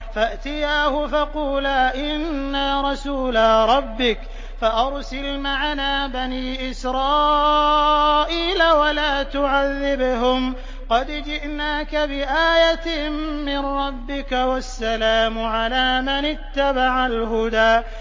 فَأْتِيَاهُ فَقُولَا إِنَّا رَسُولَا رَبِّكَ فَأَرْسِلْ مَعَنَا بَنِي إِسْرَائِيلَ وَلَا تُعَذِّبْهُمْ ۖ قَدْ جِئْنَاكَ بِآيَةٍ مِّن رَّبِّكَ ۖ وَالسَّلَامُ عَلَىٰ مَنِ اتَّبَعَ الْهُدَىٰ